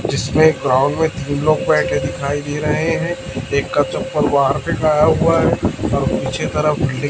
जिसमें ग्राउंड में तीन लोग बैठे दिखाई दे रहे हैं एक का चप्पल बाहर फेंकाया हुआ है और पीछे की तरफ--